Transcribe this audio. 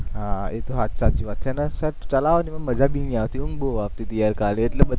હા એ તો સાચી વાત છે અને sir ચલાવે એમાં મજા ભી નઈ આવતી ઊંઘ બોવ આવતી તી યાર કાલે એટલે બધા